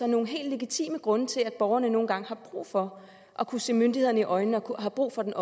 nogle helt legitime grunde til at borgerne nogle gange har brug for at kunne se myndighederne i øjnene og har brug for den